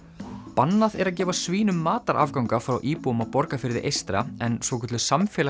bannað er að gefa svínum matarafganga frá íbúum á Borgarfirði eystra en svokölluð